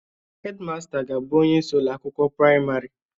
Hedmasta ga-abụ onye isi ụlọ akwụkwọ praịmarị